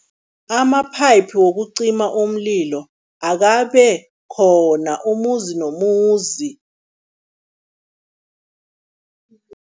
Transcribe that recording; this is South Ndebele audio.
Ama-pipe wokucima umlilo akabe khona umuzi nomuzi.